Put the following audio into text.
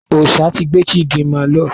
Ọsà ti gbé Chidinma lọ.